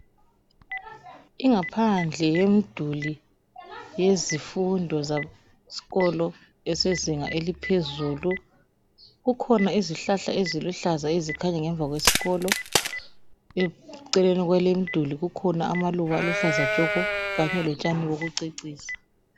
Ingaphandle yomduli yezifundo zeskolo esezinga eliphezulu. Kukhona izihlahla eziluhlaza ezikhanya ngemva kwesikolo. Eceleni kwaleyi imduli kukhona amaluba aluhlaza tshoko kanye lotshani bokucecisa.